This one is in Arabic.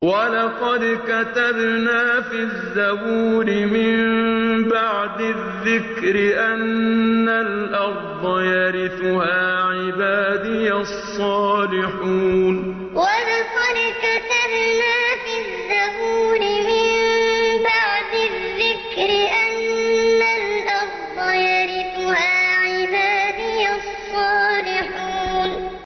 وَلَقَدْ كَتَبْنَا فِي الزَّبُورِ مِن بَعْدِ الذِّكْرِ أَنَّ الْأَرْضَ يَرِثُهَا عِبَادِيَ الصَّالِحُونَ وَلَقَدْ كَتَبْنَا فِي الزَّبُورِ مِن بَعْدِ الذِّكْرِ أَنَّ الْأَرْضَ يَرِثُهَا عِبَادِيَ الصَّالِحُونَ